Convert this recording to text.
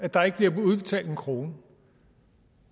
at der ikke bliver udbetalt en krone